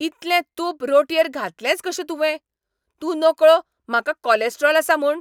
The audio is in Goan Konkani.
इतलें तूप रोटयेर घातलेंच कशें तुवें? तूं नकळो म्हाका कॉलॅस्ट्रॉल आसा म्हूण?